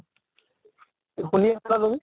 শুনি আছা নে তুমি?